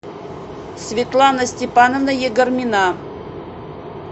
светлана степановна егормина